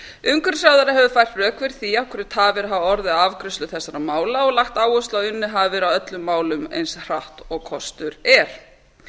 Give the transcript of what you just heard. umhverfisráðherra hefur fært rök fyrir því af hverju tafir hafa orðið á afgreiðslunni og lagt áherslu á að unnið hafi verið að öllum málum eins hratt og kostur er